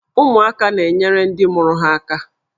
Ụmụaka na-enyere ndị mụrụ ha aka.